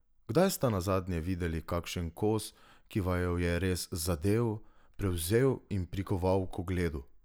Kdaj sta nazadnje videli kakšen kos, ki vaju je res zadel, prevzel in prikoval k ogledu?